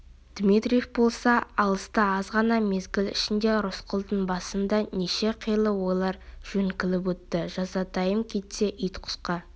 дмитриев болса алыста азғана мезгіл ішінде рысқұлдың басында неше қилы ойлар жөңкіліп өтті жазатайым кетсе ит-құсқа